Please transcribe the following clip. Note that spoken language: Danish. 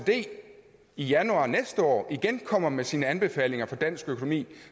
oecd i januar næste år igen kommer med sine anbefalinger for dansk økonomi